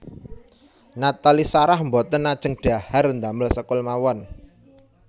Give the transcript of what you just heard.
Nathalie Sarah mboten ajeng dhahar ndamel sekul mawon